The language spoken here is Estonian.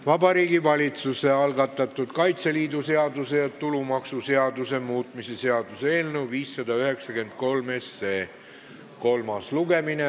Vabariigi Valitsuse algatatud Kaitseliidu seaduse ja tulumaksuseaduse muutmise seaduse eelnõu 593 kolmas lugemine.